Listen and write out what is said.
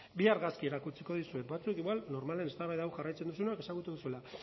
bi argazki erakutsiko dizuet batzuek igual normalean eztabaida hau jarraitzen duzuenok ezagutuko duzuela